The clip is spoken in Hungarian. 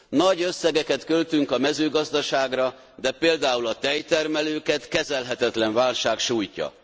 Nagy összegeket költünk a mezőgazdaságra, de például a tejtermelőket kezelhetetlen válság sújtja.